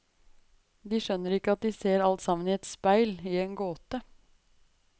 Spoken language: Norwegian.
De skjønner ikke at de ser alt sammen i et speil, i en gåte.